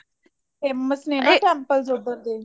famous ਨੇ ਨਾ temples ਉੱਧਰ ਦੇ